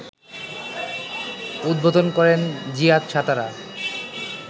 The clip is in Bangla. উদ্বোধন করেন জিয়াদ সাতারা